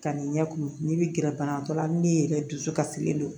Ka n'i ɲɛ kumu n'i bɛ gɛrɛ banabagatɔ la min ye dusukasilen don